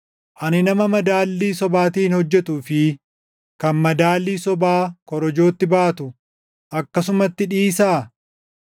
Ani nama madaallii sobaatiin hojjetuu fi kan madaalii sobaa korojootti baatu akkasumatti dhiisaa?